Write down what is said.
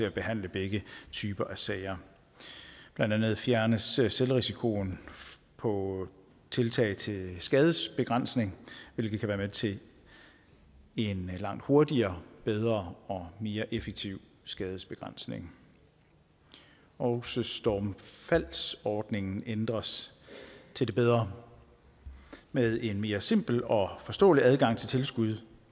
at behandle begge typer af sager blandt andet fjernes selvrisikoen på tiltag til skadesbegrænsning hvilket kan være med til at give en langt hurtigere bedre og mere effektiv skadesbegrænsning også stormfaldsordningen ændres til det bedre med en mere simpel og forståelig adgang til tilskud